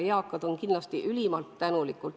Eakad on kindlasti ülimalt tänulikud.